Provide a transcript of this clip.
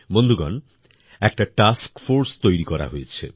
বন্ধুগণ একটা task force তৈরি করা হয়েছে